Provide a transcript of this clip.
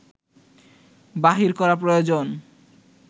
বাহির করা প্রয়োজন